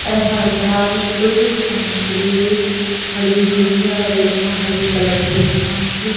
ऐसा लग रहा है कुछ समय के लिए खड़ी हुई है और यहां हरी कलर की घास--